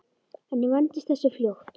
En ég vandist þessu fljótt.